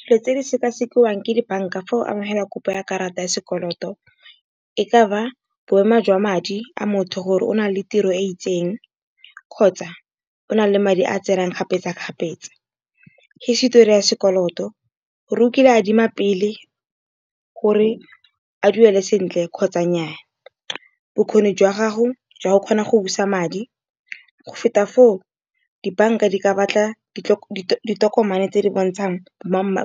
Dilo tse di sekasekiwang ke di-bank-a fa o amogela kopo ya karata ya sekoloto, e ka ba boemo jwa madi a motho gore o na le tiro e itseng kgotsa, o na le madi a tsenang kgapetsa-kgapetsa. Hisitori ya sekoloto gore o kile a adima pele gore a duele sentle kgotsa nnyaa. Bokgoni jwa gago jwa go kgona go busa madi go feta foo, di-bank-a di ka batla ditokomane tse di bontshang